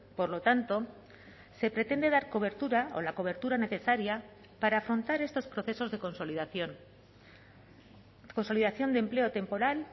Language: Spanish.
por lo tanto se pretende dar cobertura o la cobertura necesaria para afrontar estos procesos de consolidación consolidación de empleo temporal